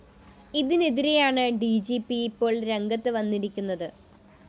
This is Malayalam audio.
ഇതിനെതിരെയാണ് ഡി ജി പി ഇപ്പോള്‍ രംഗത്ത് വന്നിരിക്കുന്നത്